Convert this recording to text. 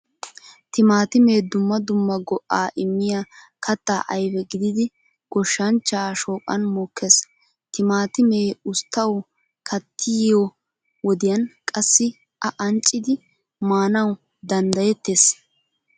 Timaatime dumma dumma go'a immiya katta ayfe gididi goshshanchcha shooqan mokkees. Timaatime usttawu kattiyo wodiyan qassi a anccidi maanawu danddayeettees.